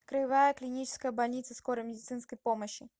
краевая клиническая больница скорой медицинской помощи